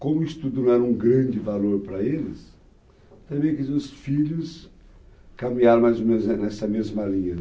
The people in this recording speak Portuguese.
como o estudo não era um grande valor para eles, também quis os filhos caminhar mais ou menos nessa mesma linha.